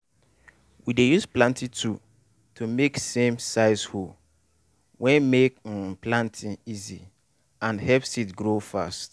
we dey use planting tool to make same-size hole wey make um planting easy and help seed grow fast.